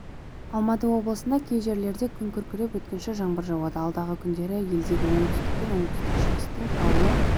алматы облысында кей жерлерде күн күркіреп өткінші жаңбыр жауады алдағы күндері елдегі оңтүстік пен оңтүстік-шығыстың таулы